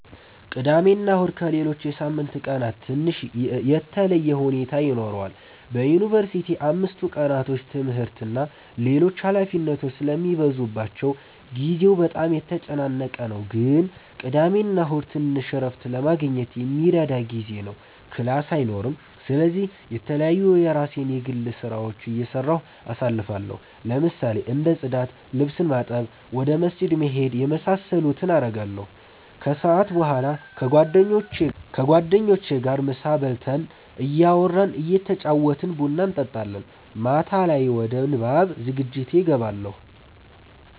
ቅዳሜና እሁድ ከሌሎች የሳምንት ቀናት ትንሽ የተለየ ሁኔታ ይኖረዋል በዩንቨርሲቲ አምስቱ ቀናቶች ትምህርት እና ሌሎች ኃላፊነቶች ስለሚበዙባቸው ጊዜው በጣም የተጨናነቀ ነው ግን ቅዳሜና እሁድ ትንሽ እረፍት ለማግኘት የሚረዳ ጊዜ ነው ክላስ አይኖርም ስለዚህ የተለያዩ የራሴን የግል ስራዎች እየሰራሁ አሳልፋለሁ ለምሳሌ እንደ ፅዳት፣ ልብስ ማጠብ፣ ቤተ ክርስቲያን መሄድ የመሳሰሉትን አረጋለሁ። ከሰዓት በኋላ ከጓደኞቼ ጋር ምሳ በልተን እያወራን እየተጫወትን ቡና እንጠጣለን። ማታ ላይ ወደ ንባብ ዝግጅቴ እገባለሁ።